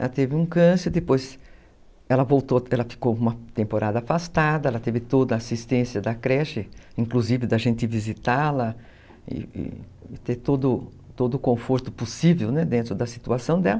Ela teve um câncer, depois ela ficou uma temporada afastada, ela teve toda a assistência da creche, inclusive da gente visitá-la, e ter todo o conforto possível, né, dentro da situação dela.